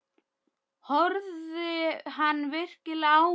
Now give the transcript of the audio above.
Horfði hann virkilega á mig?